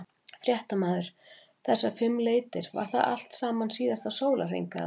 Fréttamaður: Þessar fimm leitir, var það allt saman síðasta sólarhring eða?